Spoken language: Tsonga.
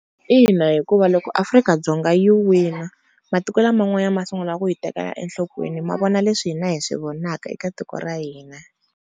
Ina hikuva loko Afrika-Dzonga yi wina, matiko laman'wanyana ma sungula ku yi tekela enhlokweni ma vona leswi hina hi swi vonaka eka tiko ra hina.